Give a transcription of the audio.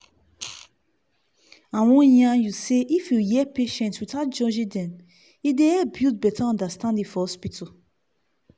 i wan yarn you say if you hear patients without judging dem e dey help build better understanding for hospital.